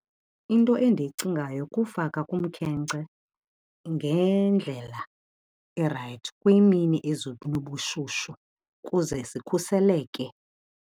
Into endiyicingayo kufaka kumkhenkce ngendlela erayithi kwiimini ezinobushushu kuze zikhuseleke.